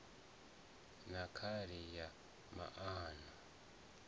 na khali ya nan o